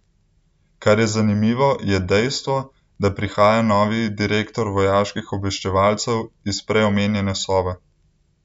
Kar je zanimivo, je dejstvo, da prihaja novi direktor vojaških obveščevalcev iz prej omenjene Sove.